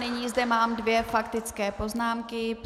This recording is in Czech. Nyní zde mám dvě faktické poznámky.